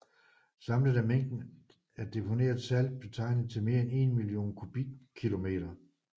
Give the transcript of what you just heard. Samlet er mængden af deponeret salt beregnet til mere end 1 million kubikkilometer